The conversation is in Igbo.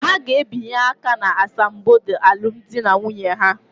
Ha ga-abịanye aka n'asambodo alụmdi na nwunye ha.